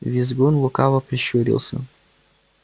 визгун лукаво прищурился